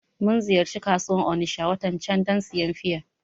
Mun ziyarci kasuwan Onitsha watan can dan siyan fiya